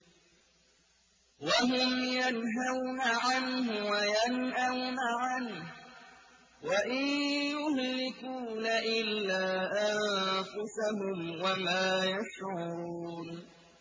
وَهُمْ يَنْهَوْنَ عَنْهُ وَيَنْأَوْنَ عَنْهُ ۖ وَإِن يُهْلِكُونَ إِلَّا أَنفُسَهُمْ وَمَا يَشْعُرُونَ